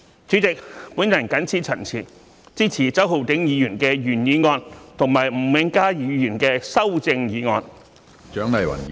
主席，我謹此陳辭，支持周浩鼎議員的原議案和吳永嘉議員的修正案。